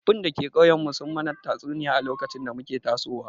Tsoffin da ke ƙauyen mu sun mana tatsuniya a lokacin da muke tasowa